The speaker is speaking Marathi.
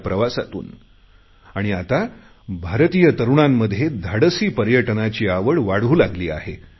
या प्रवासातून आणि आता भारतीय तरुणांमध्ये धाडसी पर्यटनाची आवड वाढू लागली आहे